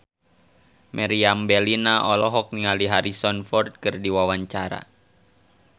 Meriam Bellina olohok ningali Harrison Ford keur diwawancara